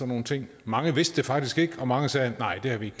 nogle ting mange vidste det faktisk ikke og mange sagde nej det har vi